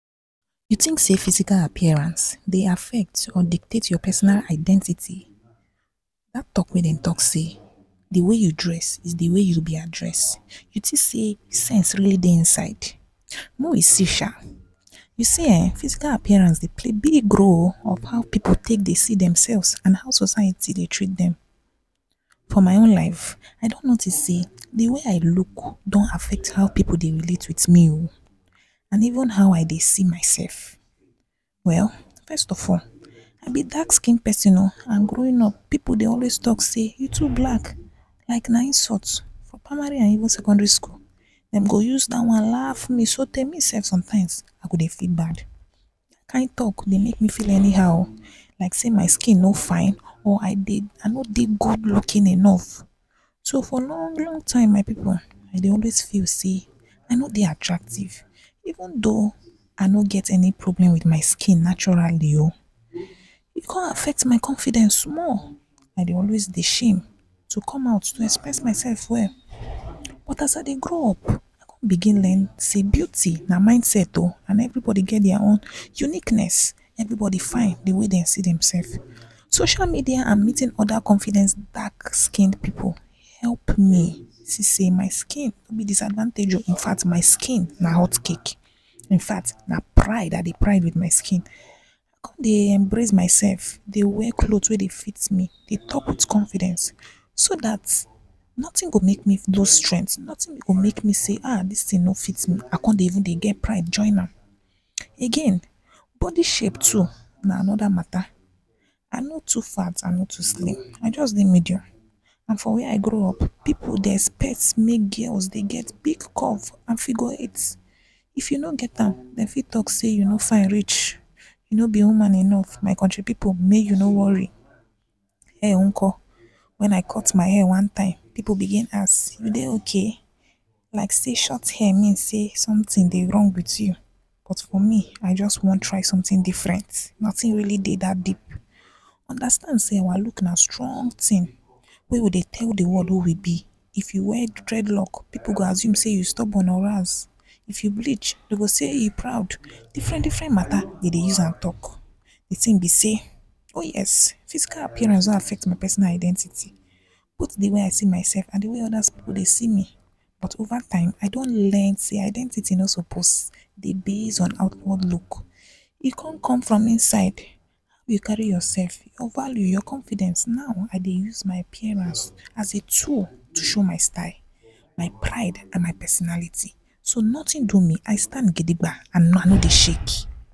You tink sey physical appearance dey afect or dictet your pasonal identity? Dat talk wey den talk sey, the way you dress is the way you wi be address, you tink sey sense rily dey inside?mey we see sha, You see ehn, physical appearance dey play big role on how pipu take dey see dem sefs and how society dey treat dem. For my own life I don notice sey, the way I luk don afect how pipu dey relate with me oo and even how I dey see mysef. Well, first of all, I be dark skin pesin oo, I am growin up pipu dey always talk sey you too blak, like an insult, for primary and even secondary skul, dem go use da one laf me o, so tey me sef sometimes I go dey feel bad, the kind talk dey make me feel any how like sey my skin no fine or I no dey gud lukin enof. So for long-long time my pipu, I dey always feel sey, I no dey atractive, even though I no get problem with my skin naturali oo, e con affect my confidence small, I dey always dey shame to come out to express my sef well but as I dey grow up, I con bigin learn sey, beauty na mindset oo and every bodi get dia own uniqness. every bodi fine the way den see demsef. Social media and meetin oda confidence dark skin pipu help me see sey my skin no be disadvantage o, infact, my skin na hot cake, na pride I dey pride with my skin. I come dey embrace my sef dey wear cloth wey dey fit me, dey talk with confidence so dat, notin go make me loose strength, notin go make me talk sey, ahh, dis tin no fit me I con even dey get pride join am. Again, bodi shape too na anoda mata, I no too fat, I no too slim. I just dey medium and for where I grow up, pipu dey espect girls mey dem dey get big curve and figure eight, if you no get am, dem fit talk sey you no fine reach, you no be woman enof, my kontri pipu, mey you no wori. Hair unko, hair one time wen I cut my hair pipu bigin ask: you dey okay? Like sey shot hair mean sey somtin dey rong with you but for me, I just want try sometin different, notin really dey dat deep. Undastand sey our luk na strong tin wey we dey tell the world who we be. If you wear dredlog, pipu go assume sey you stobon or……? If you blich, dem go sey e proud. Different-diffferent mata dem dey use am talk. The tin be sey, o yes, physical appearance don afect my pasonal identity bot the way I see mysef and the way oda pipu dey see me. But ova time, I don learn sey identity o sopos dey base on outward luk, e con come from inside wey you kari yourself, your value, your confidence, now, I dey use my appearance as a tool to show my style, my pride and my pasonality so notin do me, I stand gidigba and I no dey shake.